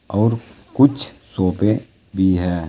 और कुछ सोफे भी हैं।